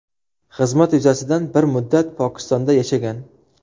Xizmat yuzasidan bir muddat Pokistonda yashagan.